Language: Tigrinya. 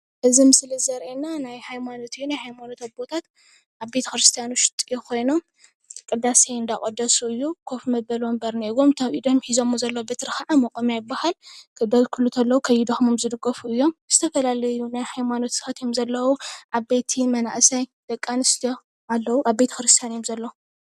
እዚ ምስሊ ዘሪኤና ናይ ሃይማኖት እዩ። ናይ ሃይማኖት ኣቦታት አብ ቤተ ክርስትያን ውሽጢ ኮይኖም ቅዳሴ እናቀደሱ እዩ። ኮፍ መበሊ ወንበር እንሄዎም ። እቲ አብ ኢዶም ሒዞምዎ ዘለዉ በትሪ ክዓ መቆምያ ይባሃል። ከገልግሉ ከለዉ ከይደክሞም ዝድገፍሉ እዮም። ዝተፈላለዩ ናይ ሃይማኖት ሰባት እዮም ዘለዉ። ዓበይቲ ፣መንእሰይ፣ ደቂ አንስትዮ አለዉ። አብ ቤተ ክርርስትያን እዮም ዘለዉ።